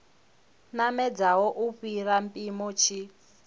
namedzaho u fhira mpimo tshi